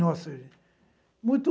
Nossa, gente. Muito,